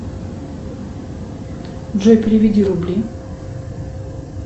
джой переведи рубли